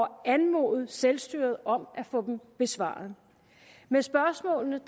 at anmode selvstyret om at få dem besvaret med spørgsmålene